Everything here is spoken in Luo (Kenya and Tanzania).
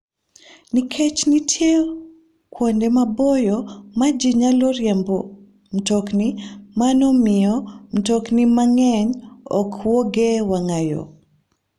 Nikech nitie kuonde maboyo ma ji nyalo riemboe mtokni, mano miyo mtokni mang'eny ok wuogi e wang'a yo.